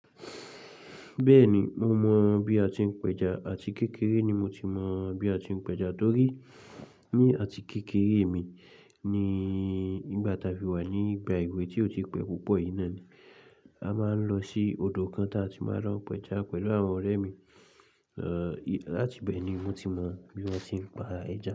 Bẹ́ẹ̀ni, mo mọ̀ bí a ti ń pẹja àti kékeré ni mo ti mọ̀ bí a ti ń pẹja torí ní àti kékeré mi ní ìgbà táa fi wà ní ìgbà èwe tí ó ti pẹ́ púpọ̀ iná ni, a máa ń lọ sí odò kan táa ti máa rán pẹja pẹ̀lú àwọn ọ̀rẹ́ mi, láti bẹ́ẹ̀ ni mo ti mọ̀ bí wón ti ń pa ẹja.